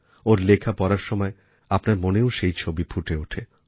ওঁর লেখা পড়ার সময় আপনার মনেও সেই ছবি ফুটে ওঠে